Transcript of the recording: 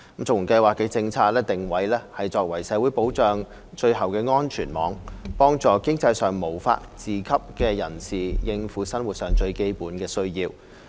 綜援計劃的政策定位是作為社會保障的最後安全網，幫助經濟上無法自給的人士應付生活最基本的需要。